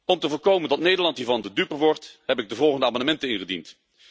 Om te voorkomen dat Nederland hiervan de dupe wordt, heb ik de volgende amendementen ingediend.